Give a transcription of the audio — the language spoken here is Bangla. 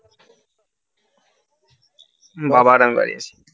বাবা আর আমি বাড়ি আছি